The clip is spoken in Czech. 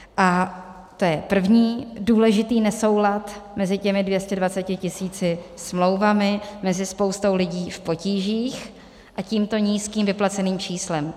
A to je první důležitý nesoulad mezi těmi 220 tisíci smlouvami, mezi spoustou lidí v potížích a tímto nízkým vyplaceným číslem.